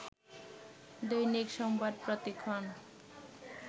দৈনিক সংবাদ প্রতিক্ষণ